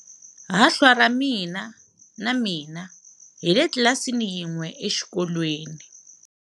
Hahlwa ra mina na mina hi le tlilasini yin'we exikolweni.